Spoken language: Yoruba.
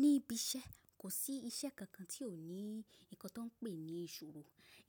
Ní ibi iṣẹ́, kò sí iṣẹ́ kankan tí ò ní nǹkan tí wọ́n ń pè ní ìṣòro.